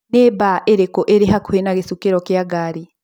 Nĩ baa irĩkũ irĩ hakuhĩ na gĩcukĩro ya ngari